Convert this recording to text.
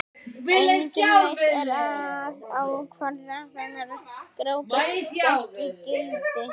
Engin leið er að ákvarða hvenær Grágás gekk í gildi.